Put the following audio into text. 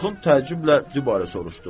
Axund təəccüblə dübarə soruşdu: